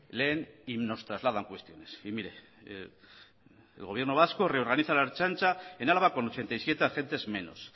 leen y nos trasladan cuestiones y mire el gobierno vasco reorganiza la ertzantza en álava con ochenta y siete agentes menos